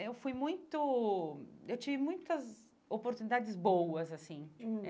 eu fui muito... eu tive muitas oportunidades boas, assim. Hum